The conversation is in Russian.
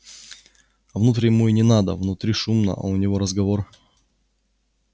а внутрь ему и не надо внутри шумно а у него разговор